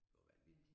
Det var vanvittigt